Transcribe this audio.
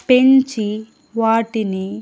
పెంచి వాటిని.